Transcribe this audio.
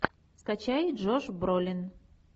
скачай джош бролин